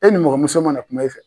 E nimɔgɔmuso mana kuma e fɛ.